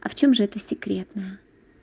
а в чём же это секретно